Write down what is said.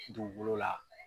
Dugukolo la.